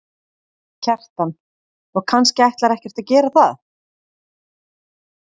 Kjartan: Og kannski ætlar ekkert að gera það?